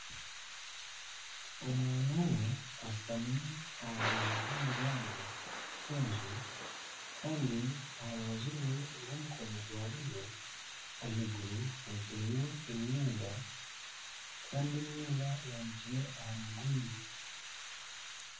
Omwaana omwe ashutami aha rubaju rw'omuryango gw'enju kandi aharubaju rwe rw'omukono gwa buryo ah'iguru hanikireyo emyenda kandi emyenda eyanikire aha mugoyi.